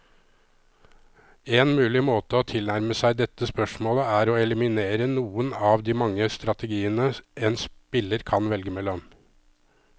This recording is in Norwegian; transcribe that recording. En mulig måte å tilnærme seg dette spørsmålet, er å eliminere noen av de mange strategiene en spiller kan velge mellom.